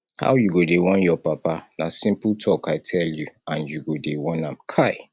how you go dey warn your papa na simple talk i tell you and you go dey warn am kai